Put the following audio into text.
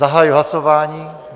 Zahajuji hlasování.